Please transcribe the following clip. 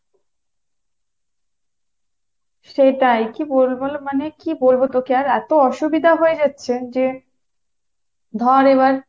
সেটাই, কী বলবো মানে কী বলবো তোকে আর এতো অসুবিধা হয়ে যাচ্ছে যে, ধর এবার